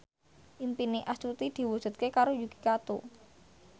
impine Astuti diwujudke karo Yuki Kato